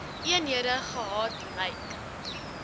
eenhede gehad lyk